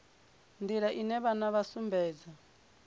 nḓila ine vhana vha sumbedza